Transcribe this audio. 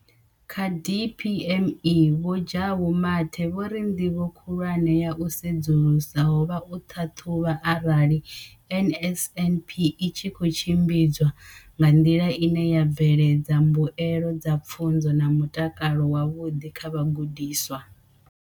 Kha DPME, Vho Jabu Mathe, vho ri ndivho khulwane ya u sedzulusa ho vha u ṱhaṱhuvha arali NSNP i tshi khou tshimbidzwa nga nḓila ine ya bveledza mbuelo dza pfunzo na mutakalo wavhuḓi kha vhagudiswa.